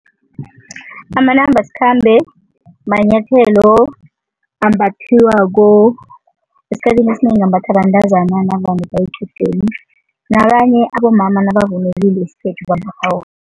Amanambasikhambe manyathelo ambathiwako, esikhathini esinengi ambathwa bantazana navane baye equdeni, nabanye abomama nabavunulile